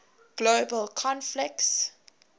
global conflicts